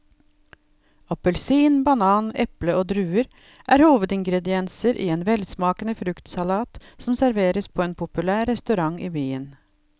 Appelsin, banan, eple og druer er hovedingredienser i en velsmakende fruktsalat som serveres på en populær restaurant i byen.